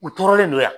U tɔɔrɔlen don yan